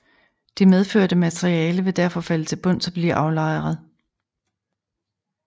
Det medførte materiale vil derfor falde til bunds og blive aflejret